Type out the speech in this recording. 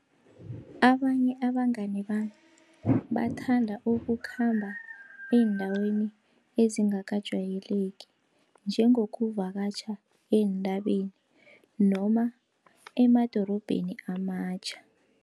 Abanye abangani bami bathanda ukukhamba eendaweni ezingakajayeleki, njengokuvakatjha eentabeni noma emadorobheni amatjha.